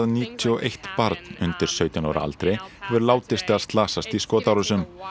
níutíu og eitt barn undir sautján ára aldri hefur látist eða slasast í skotárásum